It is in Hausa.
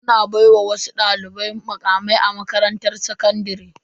Ana baiwa wasu dalibai mukamai a makarantar sakandare.